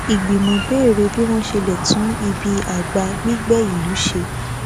ìgbìmò béèrè bí wọn ṣe lè tún ibi àgbà gbígbẹ ìlú ṣe